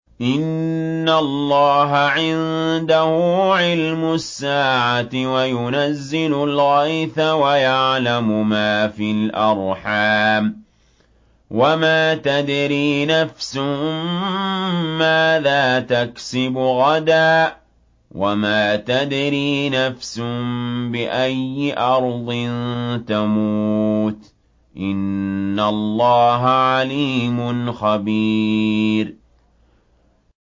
إِنَّ اللَّهَ عِندَهُ عِلْمُ السَّاعَةِ وَيُنَزِّلُ الْغَيْثَ وَيَعْلَمُ مَا فِي الْأَرْحَامِ ۖ وَمَا تَدْرِي نَفْسٌ مَّاذَا تَكْسِبُ غَدًا ۖ وَمَا تَدْرِي نَفْسٌ بِأَيِّ أَرْضٍ تَمُوتُ ۚ إِنَّ اللَّهَ عَلِيمٌ خَبِيرٌ